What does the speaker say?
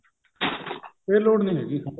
ਫੇਰ ਲੋੜ ਨਹੀਂ ਹੈਗੀ